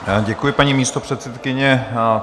Děkuji, paní místopředsedkyně.